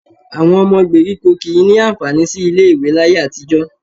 Àwọn ọmọ gbèríkò kì í ní àǹfààní sí ilé-ìwé láyé àtijọ́